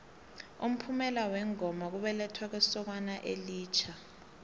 umphumela wengoma kubelethwa kwesokana elitjha